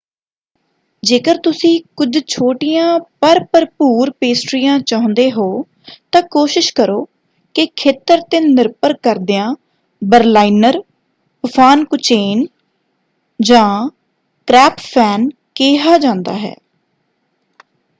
ਜੇਕਰ ਤੁਸੀਂ ਕੁਝ ਛੋਟੀਆਂ ਪਰ ਭਰਪੂਰ ਪੇਸਟ੍ਰੀਆਂ ਚਾਹੁੰਦੇ ਹੋ ਤਾਂ ਕੋਸ਼ਿਸ਼ ਕਰੋ ਕਿ ਖੇਤਰ 'ਤੇ ਨਿਰਭਰ ਕਰਦਿਆਂ ਬਰਲਾਈਨਰ ਪਫਾਨਕੁਚੇਨ ਜਾਂ ਕ੍ਰੈਪਫੈਨ ਕਿਹਾ ਜਾਂਦਾ ਹੈ।